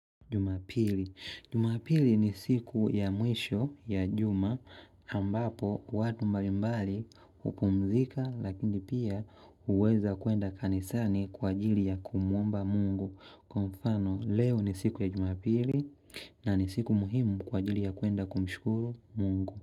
Jumapili. Jumapili ni siku ya mwisho ya juma. Ambapo watu mbalimbali hupumzika lakini pia huweza kuenda kanisani kwa ajili ya kumwomba mungu. Kwa mfano, leo ni siku ya jumapili na ni siku muhimu kwa ajili ya kuenda kumshukuru mungu.